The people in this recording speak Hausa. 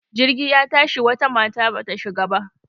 Jirgi ya tashi wata mata bata shiga ba.